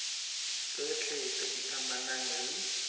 tsotlhe tse di amanang le